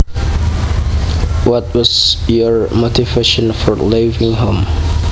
What was your motivation for leaving home